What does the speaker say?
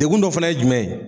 Degkun dɔ fɛnɛ ye jumɛn ye.